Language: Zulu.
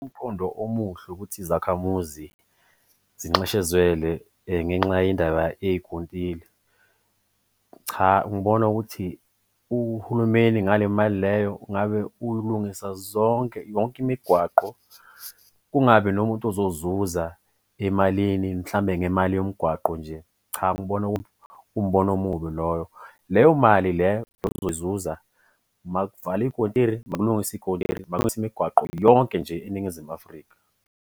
Umqondo omuhle ukuthi izakhamuzi zinxeshezwele ngenxa yendaba yey'kontile. Cha, ngibona ukuthi uhulumeni ngale mali leyo ngabe ulungisa zonke, yonke imigwaqo kungabi nomuntu ozozuza emalini mhlambe ngemali yomgwaqo nje. Cha, ngibona kuwumbono omubi loyo. Leyo mali leyo ozoyizuza makuvalwe iy'kontile, makulungiswe iy'kontile, makulungiswe imigwaqo yonke nje eNingizimu Afrika.